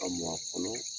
Ka mɔ a kɔnɔ